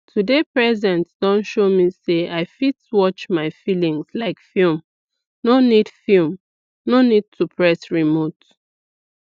to dey present don show me say i fit watch my feelings like film no need film no need to press remote